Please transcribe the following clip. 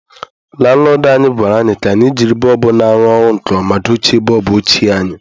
Lanlọdụ anyị gwara anyị ka anyị jiri bọlbụ na-arụ ọrụ nke ọma dochie bọlbụ ochie anyị.